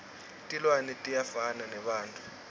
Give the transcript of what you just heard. tilwane tiyafana nebantfu